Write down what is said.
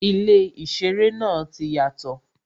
Ilé īseré náà ti yàtò